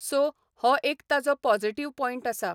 so हो एक ताजो पॉजिटीव पॉयंट आसा